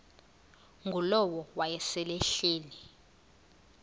ngulowo wayesel ehleli